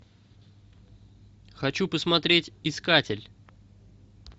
хочу посмотреть искатель